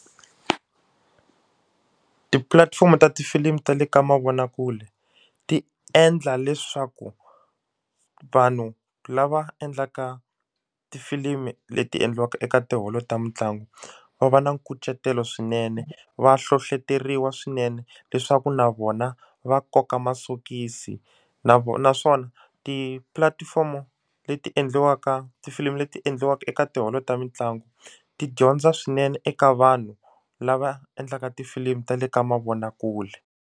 Tipulatifomo ta tifilimu ta le ka mavonakule ti endla leswaku vanhu lava endlaka tifilimi leti endliwaka eka tiholo ta mitlangu va va na nkucetelo swinene va hlohleteriwa swinene leswaku na vona va koka masokisi na vona naswona tipulatifomo leti endliwaka tifilimi leti endliwaka eka tiholo ta mitlangu ti dyondza swinene eka vanhu lava endlaka tifilimu ta le ka mavonakule.